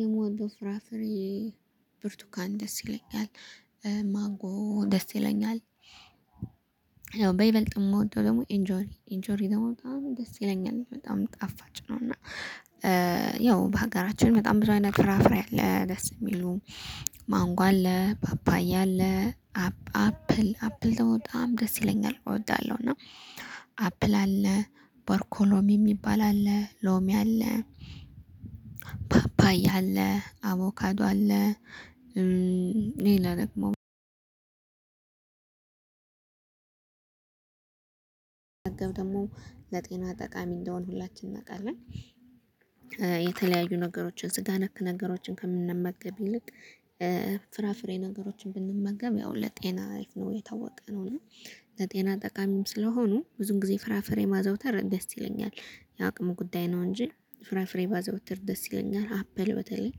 የሞንጎ ፍራፍሬ ብርቱካን ደስ ይለኛል ማንጎ ደስ ይለኛል። በይበልጥም የምወደው ደግሞ ኢንጆሪ ኢንጆሪ ደግሞ በጣም ደስ ይለኛል በጣም ጣፋጭ ነው። እና ያው በሀገራችን በጣም ብዙ አይነት ፍራፍሬ አለ። ደስ የሚሉ ማንጎ አለ ፓፓያ አለ አፕል አፕል በጣም ደስ ይለኛል እወዳለሁ። እና አፕል አለ ባርኮሎሚ የሚባል አለ ሎሚ አለ ፓፓያ አለ አቮካዱ አለ። ይሄን ደግሞ ደግሞ ለጤና ጠቃሚ እንደሆነ ሁላችንም እናውቃለን። የተለያዩ ነገሮችን ስጋ ነክ ነገሮችን ከምንመገብ ይልቅ ፍራፍሬ ነገሮችን ብንመገብ ያው ለጤና አርፍ ነው የታወቀ ነው። እና ለጤና ጠቃሚም ስለሆኑ ብዙ ጊዜ ፍራፍሬ ማዘውተር ደስ ይለኛል። የአቅሙ ጉዳይ ነው እንጂ ፍራፍሬ ባዘውተር ደስ ይለኛል። አፕል በተለይ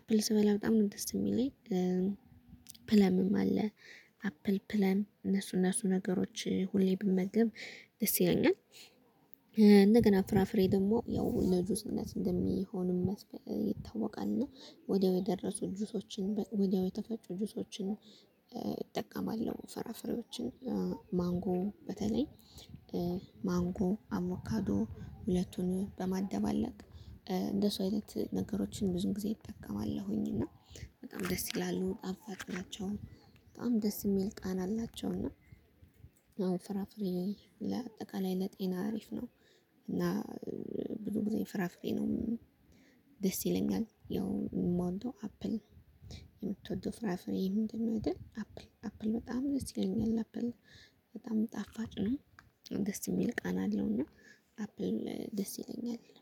አፕል ስበላ በጣም ነው ደስ የሚለኝ። ፕለምም አለ አፕል ፕለም እነሱ እነሱ ነገሮች ሁሌ ብመገብ ደስ ይለኛል። እንደገና ፍራፍሬ ደግሞ ያው ለጁስነት እንደሚሆንም ይታወቃል። እና ወዲያው የደረሱ ጁሶችን ወዲያው የተፈጩ ጆሶችን እጠቀማለሁ። ፈራፈሪዎችን ማንጎ በተለይ ማንጎ አቮካዶ ሁለቱን በማደባለቅ እንደሱ አይነት ነገሮችን ብዙ ጊዜ እጠቀማለሁኝ። እና በጣም ደስ ይላሉ ጣፋጭ ናቸው በጣም ደስ የሚል ቃና አላቸው። እና አዎ ፍራፍሬ ለአጠቃላይ ለጤና አሪፍ ነው። እና ብዙ ጊዜ ፍራፍሬ ነው ደስ ይለኛል ያው የምወደው አፕል። የምትወደው ፍራፍሬ ምንድነው? አደል አፕል አፕል በጣም ደስ ይለኛል አፕል በጣም ጣፋጭ ነው። ደስ የሚል ቃና አለው እና አፕል ደስ ይለኛል የለም